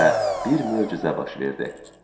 və bir möcüzə baş verdi.